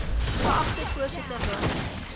geagte voorsitter dames